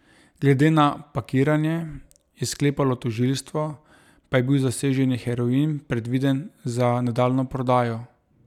Glede na pakiranje, je sklepalo tožilstvo, pa je bil zaseženi heroin predviden za nadaljnjo prodajo.